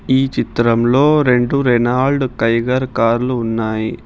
ఈ చిత్రంలో రెండు రెనాల్డ్ టైగర్ కార్లు ఉన్నాయి.